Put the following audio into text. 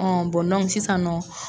Ɔ bɔn dɔnk sisan nɔ